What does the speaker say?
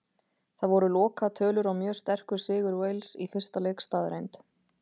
Það voru lokatölur og mjög sterkur sigur Wales í fyrsta leik staðreynd.